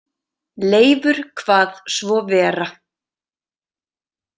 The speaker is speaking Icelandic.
Leifur kvað svo vera.